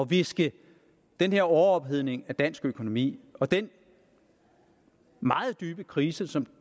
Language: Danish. viske den her overophedning af dansk økonomi og den meget dybe krise som